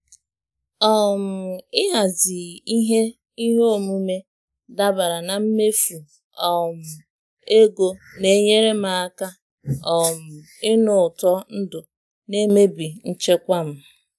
um ịhazi ihe ihe omume dabara na mmefu um ego na-enyere m aka um ịnụ ụtọ ndụ na-emebi nchekwa m.